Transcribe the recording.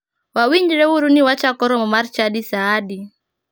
Wawinjre uru ni wachako romo mar chadi saa adi.